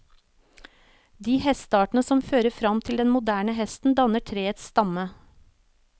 De hesteartene som fører fram til den moderne hesten danner treets stamme.